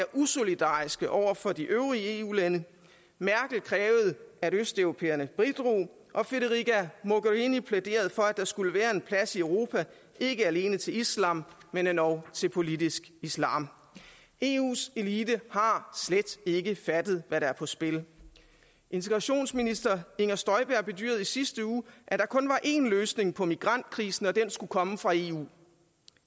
usolidariske over for de øvrige eu lande merkel krævede at østeuropæerne bidrog og federica mogherini plæderede for at der skulle være en plads i europa ikke alene til islam men endog til politisk islam eus elite har slet ikke fattet hvad der er på spil integrationsminister inger støjberg bedyrede i sidste uge der kun var én løsning på migrantkrisen at den skulle komme fra eu